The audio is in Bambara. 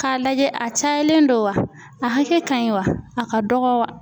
K'a lajɛ a cayalen don wa a hakɛ ka ɲi wa a ka dɔgɔ wa.